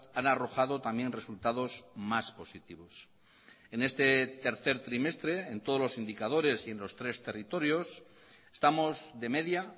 han arrojado también resultados más positivos en este tercer trimestre en todos los indicadores y en los tres territorios estamos de media